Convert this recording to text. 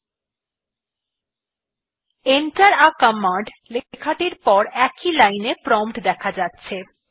enter থে command লেখাটির পর একই লাইনে প্রম্পট দেখা যাচ্ছে